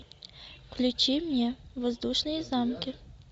включи мне воздушные замки